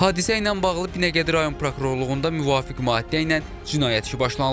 Hadisə ilə bağlı Binəqədi Rayon Prokurorluğunda müvafiq maddə ilə cinayət işi başlanılıb.